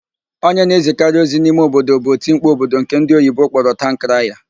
Onye na-ezikarị ozi n'ime obodo bụ otimkpu obodo nke ndị oyibo kpọrọ taụn kraya.